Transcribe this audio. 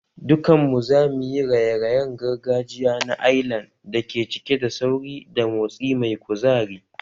Dukanmu za mu yi raye-rayen gargajiya na Ailan da ke cike da sauri da motsi mai kuzari